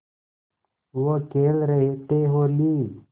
वो खेल रहे थे होली